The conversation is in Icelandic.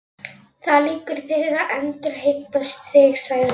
Það liggur fyrir að endurheimta þig, sagði hún.